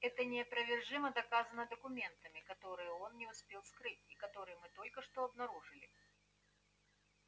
это неопровержимо доказано документами которые он не успел скрыть и которые мы только что обнаружили